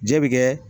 Jɛ bɛ kɛ